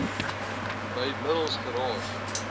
bv middels geraas